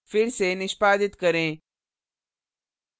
फिर से निष्पादित करें